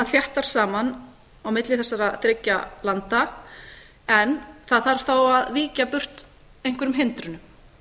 þéttar saman á milli þessara þriggja landa en það þarf þá að víkja burt einhverjum hindrunum